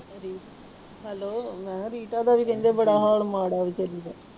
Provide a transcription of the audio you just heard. Hello ਮੈਂ ਕਿਹਾ Rita ਦਾ ਵੀ ਕਹਿੰਦੇ ਬੜਾ ਹਾਲ ਮਾੜਾ ਹੈ ਬੇਚਾਰੀ ਦਾ।